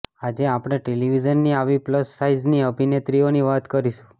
આજે આપણે ટેલિવિઝનની આવી પ્લસ સાઇઝની અભિનેત્રીઓની વાત કરીશું